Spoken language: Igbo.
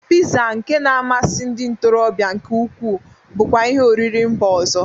Piza nke na-amasi ndị ntorọbịa nke ukwu bụkwa ihi oriri mba ọzọ.